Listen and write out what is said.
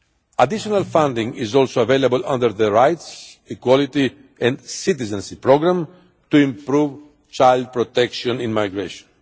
Additional funding is also available under the Rights, Equality and Citizenship Programme to improve child protection in migration.